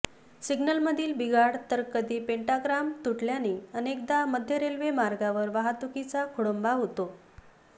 सिग्नलमधील बिघाड तर कधी पेण्टाग्राफ तुटल्याने अनेकदा मध्य रेल्वे मार्गावर वाहतुकीचा खोळंबा होतो